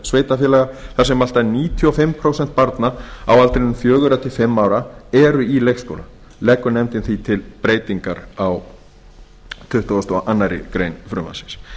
sveitarfélaga þar sem allt að níutíu og fimm prósent barna á aldrinum fjögurra til fimm ára eru í leikskóla leggur nefndin því til breytingar á tuttugustu og aðra grein frumvarpsins